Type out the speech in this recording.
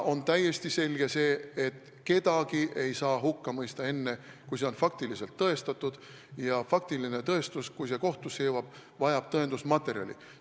On täiesti selge, et kedagi ei saa hukka mõista enne, kui on olemas faktiline tõestus, ja faktiline tõestus, kui see kohtusse jõuab, vajab tõendusmaterjali.